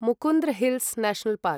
Mukundra hills national park